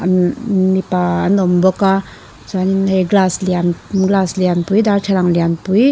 mipa an awm bawk a chuanin hei glass lian glass lianpui darthlalang lianpui--